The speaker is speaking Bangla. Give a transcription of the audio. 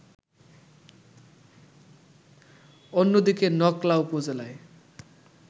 অন্যদিকে নকলা উপজেলায়